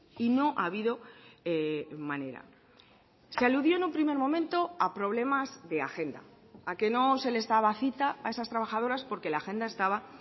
y no ha habido manera se aludió en un primer momento a problemas de agenda a que no se les daba cita a esas trabajadoras porque la agenda estaba